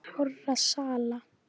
hárra sala.